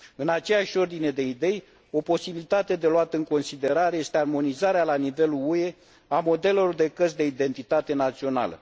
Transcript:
În aceeași ordine de idei, o posibilitate de luat în considerare este armonizarea la nivelul UE a modelelor de cărți de identitate națională.